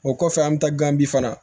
O kɔfɛ an bɛ taa gan bi fana